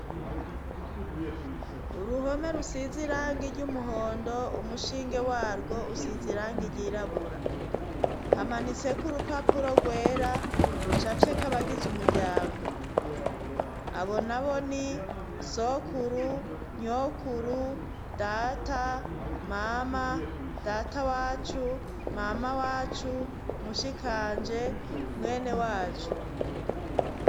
Uruhome rusize iranga iry' umuhondo umushinge warwo usize irange iryirabura hamanitseko urupapuro rwera rucace ko abagize umuryango abona bo ni sokuru nyokuru data mama data wacu mama wacu mushikanje mwene wacu.